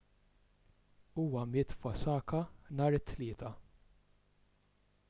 huwa miet f'osaka nhar it-tlieta